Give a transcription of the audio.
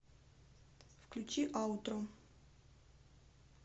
включи аутро